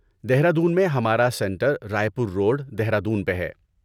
دہرادون میں ہمارا centre Raipur road, Dehradun پہ ہے۔